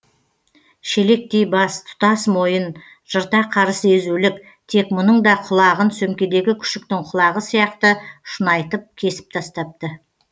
шелектей бас тұтас мойын жырта қарыс езулік тек мұның да құлағын сөмкедегі күшіктің құлағы сияқты шұнайтып кесіп тастапты